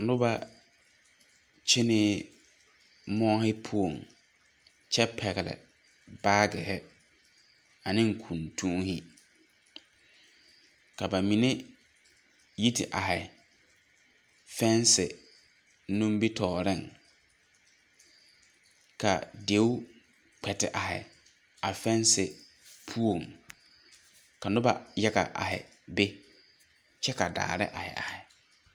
Noba kyenee moͻhe poͻŋ kyԑ pԑgele baagihe ane kuntuuhe. Ka ba mine yi te ahe fԑԑse nimitͻͻreŋ. Ka deo kpԑ te are a fԑԑse poͻŋ ka noba yaga ahe be kyԑ ka daahe ahe ahe.